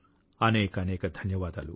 అనేకానేక ధన్యవాదాలు